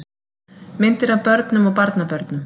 Myndir af börnum og barnabörnum.